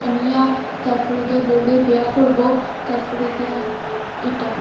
আনিয়া তারফরে গিয়া বউরে বিয়া করবো তারফরে গিয়া ইটা--